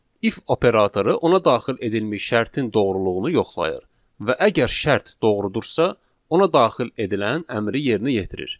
İf operatoru ona daxil edilmiş şərtin doğruluğunu yoxlayır və əgər şərt doğrudursa, ona daxil edilən əmri yerinə yetirir.